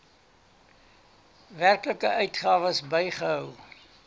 werklike uitgawes bygehou